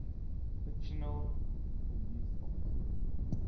fictional police officers